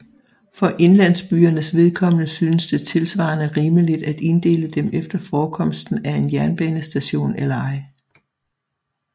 For indlandsbyernes vedkommende synes det tilsvarende rimeligt at inddele dem efter forekomsten af en jernbanestation eller ej